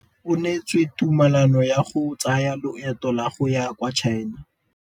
O neetswe tumalanô ya go tsaya loetô la go ya kwa China.